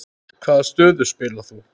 Hvaða stöðu spilaðir þú?